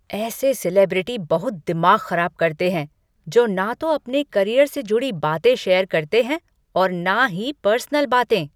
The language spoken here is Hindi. ऐसे सेलिब्रिटी बहुत दिमाग खराब करते हैं जो ना तो अपने करियर से जुड़ी बातें शेयर करते हैं और ना ही पर्सनल बातें।